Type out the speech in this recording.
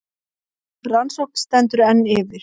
Rannsókn stendur enn yfir